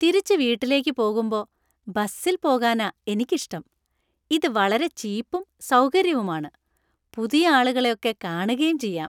തിരിച്ച് വീട്ടിലേക്ക് പോകുമ്പൊ ബസ്സിൽ പോകാനാ എനിക്ക് ഇഷ്ടം. ഇത് വളരെ ചീപ്പും സൗകര്യവുമാണ്. പുതിയ ആളുകളെ ഒക്കെ കാണുകേം ചെയ്യാം.